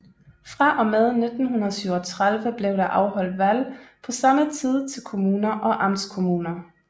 Fra og med 1937 blev der afholdt valg på samme tid til kommuner og amtskommuner